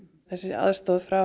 þessi aðstoð frá